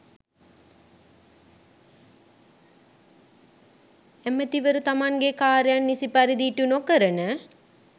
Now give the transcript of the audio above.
ඇමතිවරු තමන්ගේ කාර්යන් නිසි පරිදි ඉටු නොකරන